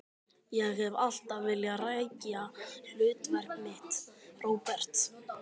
Ég hef alltaf vilja rækja hlutverk mitt, Róbert.